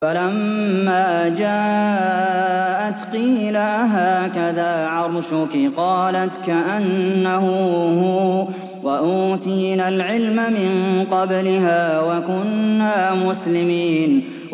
فَلَمَّا جَاءَتْ قِيلَ أَهَٰكَذَا عَرْشُكِ ۖ قَالَتْ كَأَنَّهُ هُوَ ۚ وَأُوتِينَا الْعِلْمَ مِن قَبْلِهَا وَكُنَّا مُسْلِمِينَ